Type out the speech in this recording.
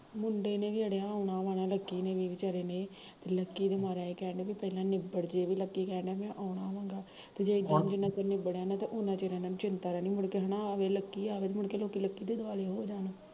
ਮੁੰਡੇ ਨੇ ਵੀ ਅੜਿਆ ਆਉਣਾ ਵਾ ਨਾ ਲਕੀ ਨੇ ਵੀ ਵਿਚਾਰੇ ਨੇ ਤੇ ਲਕੀ ਦਾ ਵਿਚਾਰਾ ਏਹ ਕਹਿਣ ਡਿਆ ਵਾ ਕਿ ਨਿਬੜ੍ਜੇ ਵੀ ਲਕੀ ਕਹਿਣ ਡੀਆ ਮੈਂ ਆਉਣਾ ਵਾ ਗਾ ਹੁਣ ਜਿੰਨਾ ਚਿਰ ਏਹਨਾ ਤੋਂ ਨਿਬੜਿਆ ਨੀ ਨਾ ਉਨਾਂ ਚਿਰ ਚਿੰਤਾ ਰਹਿਣੀ ਤੇ ਮੁੜ ਕੇ ਹੈਨਾ ਅਵੇ ਲਕੀ ਅਵੇ ਇਹਨਾਂ ਲਕੀ ਦੇ ਦਵਾਲੇ ਹੋ ਜਾਣਾ